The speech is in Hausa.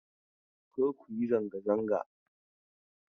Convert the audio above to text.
Kar ku yi zanga zanga!